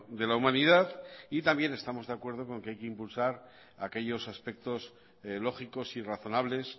de la humanidad también estamos de acuerdo con que hay que impulsar aquellos aspectos lógicos y razonables